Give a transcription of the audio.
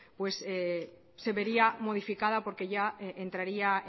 pues se vería modificada porque ya entraría